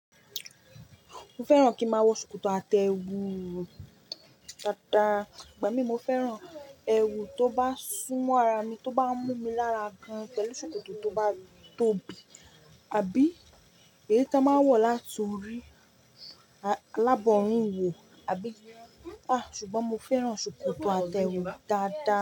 Mo fẹ́ràn kí máa wọ ṣòkòtò àtẹ ewu dáadáa, igba mi mo fẹ́ràn ẹwu tó bá sún mọ́ ara mi, tó bá mú mi lára gan-an pẹ̀lú ṣòkòtò tó ba tóbi, àbí èyí ta n máa ń wọ̀ láti orí alábọ̀rin wò, àbí? À, ṣùgbọ́n mo fẹ́ràn ṣòkòtò àtẹ ewu dáadáa.